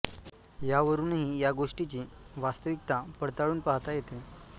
या वरूनही या गोष्टीची वास्तविकता पडताळून पाहाता येते